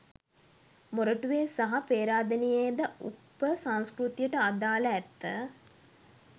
මොරටුවේ සහ පේරාදෙණියේද උප සංස්කෘතියට අදාළ ඇත.